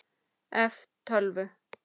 ef. tölvu